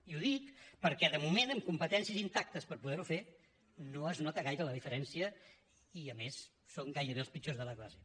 i ho dic perquè de moment amb competències intactes per poder ho fer no es nota gaire la diferència i a més som gairebé els pitjors de la classe